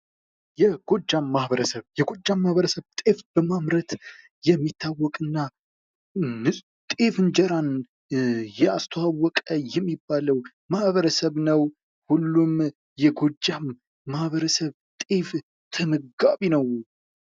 የጎጃም ማበረሰብ የጎጃም ማህበረሰብ ጤፍ በማምረት የሚታወቅና ንፁህ ጤፍ እንጀራን ያስተዋወቀ የሚባለው ማህበረሰብ ነው:: ሁሉም የጎጃም ማበረሰብ ጤፍ ተመጋቢ ነው ::